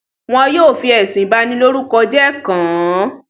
Wọn yóò fi ẹ̀sùn ìbànilorúkọjẹ́ kàn án.